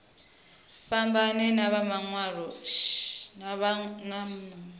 fhambane na vha mawe mashango